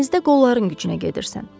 Dənizdə qolların gücünə gedirsən.